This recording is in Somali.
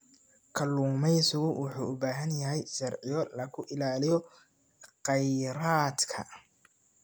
Kalluumeysigu wuxuu u baahan yahay sharciyo lagu ilaaliyo kheyraadka.